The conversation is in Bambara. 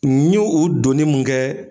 N ye o donni mun kɛ